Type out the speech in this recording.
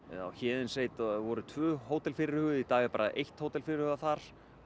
á voru tvö hótel fyrirhuguð í dag er bara eitt hótel fyrirhugað þar